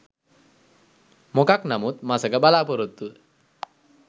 මො‍කක් නමුත් මසක බලාපොරෙත්තුව